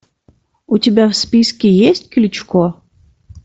у тебя в списке есть кличко